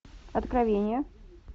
откровение